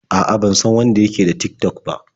A'a, ban san wanda ya ke da Tik-tok ba.